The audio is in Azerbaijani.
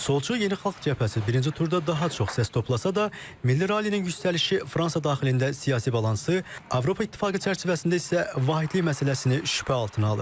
Solçu Yeni Xalq Cəbhəsi birinci turda daha çox səs toplasa da, Milli Rallinin yüksəlişi Fransa daxilində siyasi balansı, Avropa İttifaqı çərçivəsində isə vahidlik məsələsini şübhə altına alır.